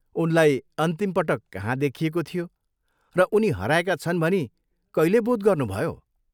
उनलाई अन्तिम पटक कहाँ देखिएको थियो र उनी हराएका छन् भनी कहिले बोध गर्नुभयो?